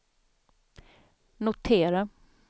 notera